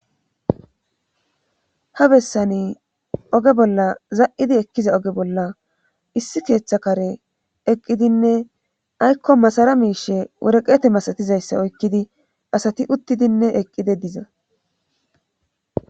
Ha bessani oge bolla za7idi ekkiza oge bolla issi keeththa kare eqqidinne aykko masara miishe woreqeete masatizayssa oykkidi asati uttidinne eqqide diza.